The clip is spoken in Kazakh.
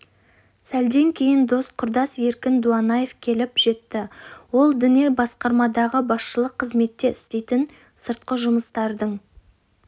сәлден кейін дос құрдас еркін дуанаев келіп жетті ол діни басқармадағы басшылық қызметте істейтін сыртқы жұмыстардың